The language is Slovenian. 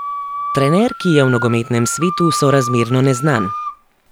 Trener, ki je v nogometnem svetu sorazmerno neznan.